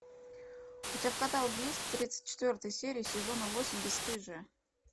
у тебя в каталоге есть тридцать четвертая серия сезона восемь бесстыжие